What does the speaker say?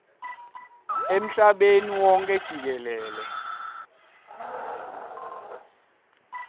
emhlabeni wonkhe jikelele